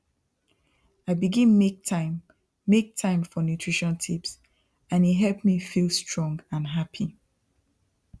i begin make time make time for nutrition tips and e help me feel strong and happy